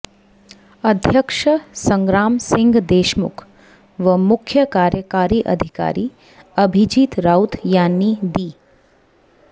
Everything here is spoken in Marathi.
अध्यक्ष संग्रामसिंह देशमुख व मुख्य कार्यकारी अधिकारी अभिजीत राऊत यांनी दि